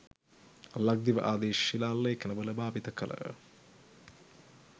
ලක්දිව ආදී ශිලා ලේඛන වල භාවිත කළ